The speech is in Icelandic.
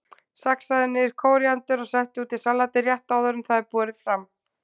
Saxaðu niður kóríander og settu út í salatið rétt áður en það er borið fram.